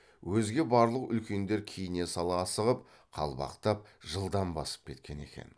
өзге барлық үлкендер киіне сала асығып қалбақтап жылдам басып кеткен екен